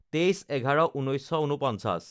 ২৩/১১/১৯৪৯